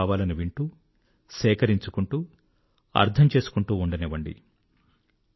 మీ భావాలను వింటూ సేకరించుకుంటూ అర్థం చేసుకుంటూ ఉండనివ్వండి